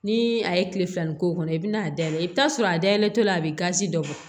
Ni a ye kile filanin k'o kɔnɔ i bɛna a dayɛlɛ i bɛ t'a sɔrɔ a dayɛlɛtɔ la a bɛ gazi dɔ bɔ